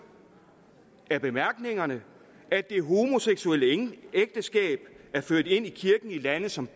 af bemærkningerne at det homoseksuelle ægteskab er ført ind i kirken i lande som